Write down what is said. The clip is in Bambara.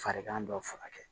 Farigan dɔ furakɛ